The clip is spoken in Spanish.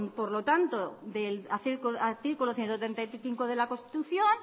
por lo tanto del artículo ciento treinta y cinco de la constitución